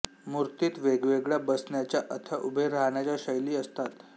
मूर्तीत वेगवेगळ्या बसण्याच्या अथवा उभे राहण्याच्या शैली असतात